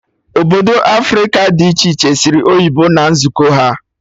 Obodo Africa dị iche iche sụrụ oyibo na nzukọ ha